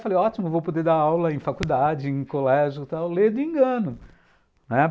Falei, ótimo, vou poder dar aula em faculdade, em colégio e tal, ledo engano, né?